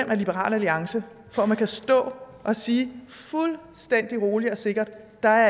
af liberal alliance for at man kan stå og sige fuldstændig roligt og sikkert at der